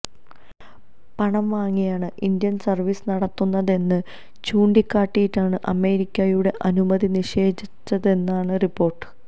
പണം വാങ്ങിയാണ് India service നടത്തുന്നതെന്ന് ചൂണ്ടിക്കാട്ടിയാണ് അമേരിക്കയുടെ അനുമതി നിഷേധിച്ചതെന്നാണ് റിപ്പോര്ട്ട്